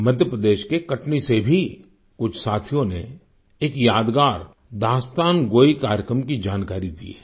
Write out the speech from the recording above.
मध्य प्रदेश के कटनी से भी कुछ साथियों ने एक यादगार दास्तानगोई कार्यक्रम की जानकारी दी है